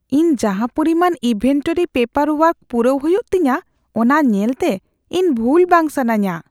ᱤᱧ ᱡᱟᱦᱟᱸ ᱯᱚᱨᱤᱢᱟᱱ ᱤᱱᱵᱷᱮᱱᱴᱚᱨᱤ ᱯᱮᱯᱟᱨ ᱳᱣᱟᱨᱠ ᱯᱩᱨᱟᱹᱣ ᱦᱩᱭᱩᱜ ᱛᱤᱧᱟᱹ ᱚᱱᱟ ᱧᱮᱞᱛᱮ, ᱤᱧ ᱵᱷᱩᱞ ᱵᱟᱝ ᱥᱟᱱᱟᱧᱼᱟ ᱾